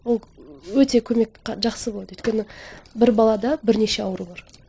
ол өте көмек жақсы болады өйткені бір балада бірнеше ауру бар